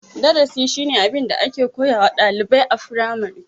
Darasi shine abin da ake koyawa ɗalibai a firamare.